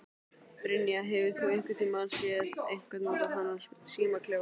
Brynja: Hefur þú einhvern tíman séð einhver nota þennan símaklefa?